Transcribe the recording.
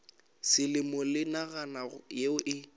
selemo le naga yeo e